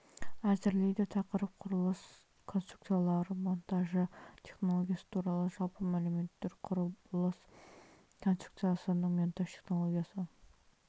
әзірлейді тақырып құрылыс конструкциялары монтажы технологиясы туралы жалпы мәліметтер құрылыс конструкциясының монтаж технологиясы